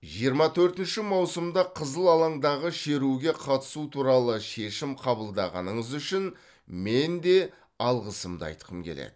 жиырма төртінші маусымда қызыл алаңдағы шеруге қатысу туралы шешім қабылдағаныңыз үшін мен де алғысымды айтқым келеді